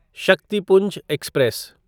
Shaktipunj express